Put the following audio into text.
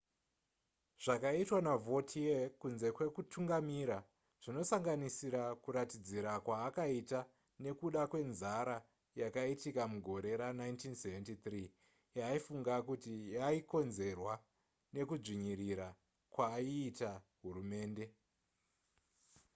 zvakaitwa navautier kunze kwekutungamira zvinosanganisira kuratidzira kwaakaita nekuda kwenzara yakaitika mugore ra1973 yaaifunga kuti yaikonzerwwa nekudzvinyirira kwaiita hurumende